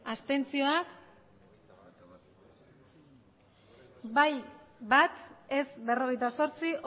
abstentzioak bai bat ez berrogeita zortzi